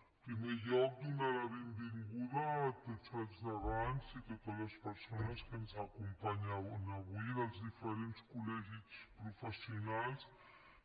en primer lloc donar la benvinguda a tots els degans i totes les persones que ens acompanyen avui dels diferents col·legis professionals